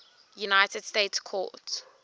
united states court